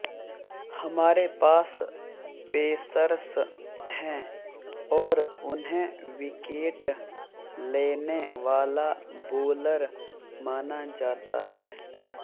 हमारे पास पेसर्स हैं और उन्हें विकेट लेने वाला बोलर माना जाता है